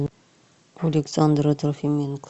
александра трофименко